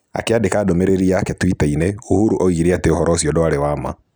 Akĩandĩka ndũmĩrĩri yake twitter-inĩ, Uhuru oigire atĩ ũvoro ũcio ndwarĩ wa ma.